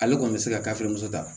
Ale kɔni bɛ se ka kafe muso ta